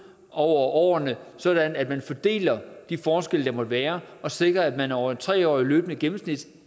over årene sådan at man fordelte de forskelle der måtte være og sikrede at man over et tre årig t løbende gennemsnit